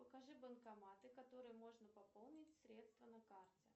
покажи банкоматы которые можно пополнить средства на карте